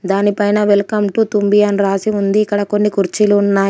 దాని పైన welcome to Tumbhi అని రాసి ఉంది ఇక్కడ కొన్ని కుర్చీలు ఉన్నాయి.